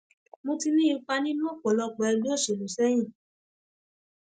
mo ti ní ipa nínú ọpọlọpọ ẹgbẹ òṣèlú sẹyìn